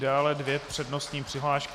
Dále dvě přednostní přihlášky.